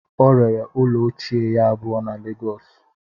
O rere ụlọ ochie ya abụọ na lagos